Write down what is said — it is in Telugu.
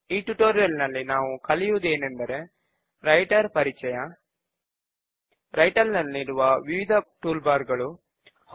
ఈ ట్యుటోరియల్ లో మనము ఒక సబ్ ఫామ్ ను క్రియేట్ చేయడము నేర్చుకుంటాము